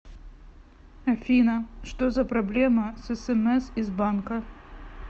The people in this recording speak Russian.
афина что за проблема с смс из банка